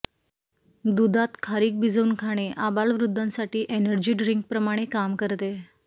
दूधात खारीक भिजवून खाणे आबालवृद्धांसाठी एनर्जी ड्रिंकप्रमाणे काम करते